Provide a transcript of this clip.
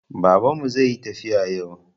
Baban mu zai yi tafiya yau